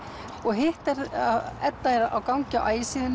og hitt er að Edda er á gangi á